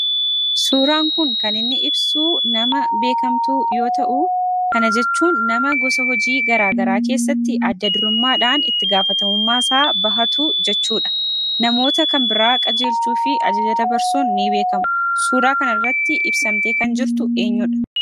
Suuraan kun kan inni ibsu nama beekamtuu yoo ta'uu, kana jechuun nama gosa hojii garaa garaa keessatti adda durummaadhaan itti gaafatamummaasaa bahatu jechuudha. Namoota kan biraa qajeelchuu fi ajaja dabarsuunni beekamu. Suuraa kan irratti ibsamtee kan jirtu eenyudha?